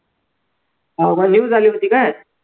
हाव झाली होती काय